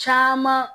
Caman